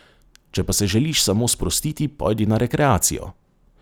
Če pa se želiš samo sprostiti, pojdi na rekreacijo.